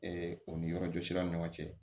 o ni yɔrɔjɔ siraw ni ɲɔgɔn cɛ